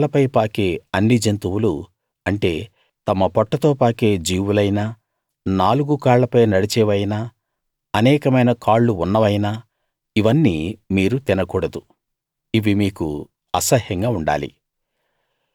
నేలపై పాకే అన్ని జంతువులు అంటే తమ పొట్టతో పాకే జీవులైనా నాలుగు కాళ్ళపై నడిచేవైనా అనేకమైన కాళ్ళు ఉన్నవైనా ఇవన్నీ మీరు తినకూడదు ఇవి మీకు అసహ్యంగా ఉండాలి